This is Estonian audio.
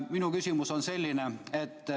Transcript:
Minu küsimus on selline.